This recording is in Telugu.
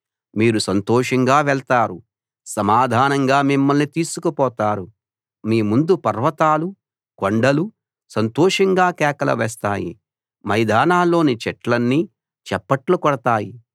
మీరు సంతోషంగా వెళతారు సమాధానంగా మిమ్మల్ని తీసుకు పోతారు మీ ముందు పర్వతాలు కొండలు సంతోషంగా కేకలు వేస్తాయి మైదానాల్లోని చెట్లన్నీ చప్పట్లు కొడతాయి